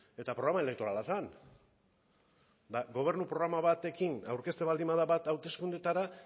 eta programa elektorala zen eta gobernu programa batekin aurkezten baldin bada bat hauteskundeetara